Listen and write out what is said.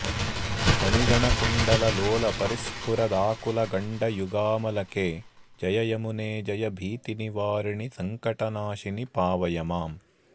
मणिगणकुण्डललोलपरिस्फुरदाकुलगण्डयुगामलके जय यमुने जय भीतिनिवारिणि संकटनाशिनि पावय माम्